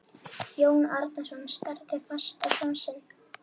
Jón Arason starði fast á son sinn.